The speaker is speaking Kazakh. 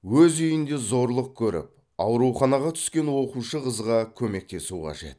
өз үйінде зорлық көріп ауруханаға түскен оқушы қызға көмектесу қажет